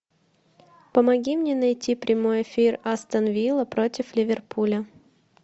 помоги мне найти прямой эфир астон вилла против ливерпуля